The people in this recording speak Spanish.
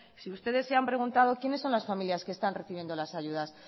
si ustedes se han preguntado quiénes son las familias que están recibiendo las ayudas